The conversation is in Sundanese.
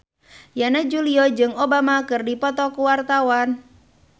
Yana Julio jeung Obama keur dipoto ku wartawan